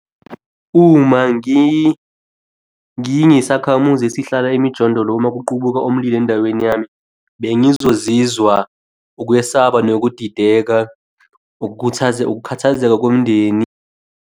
Uma ngingisakhamuzi esihlala emijondolo uma kuqubuka omlilo endaweni yami. Bengizozizwa ukwesaba nokudideka. Ukukhathazeka komndeni.